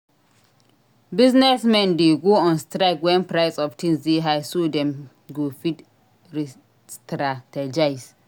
Business men de go on strike when price of things de high so dem go fit restrategize